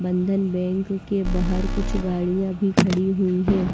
बंधन बैंक के बाहर कुछ गाड़ियां भी खड़ी हुई हैं।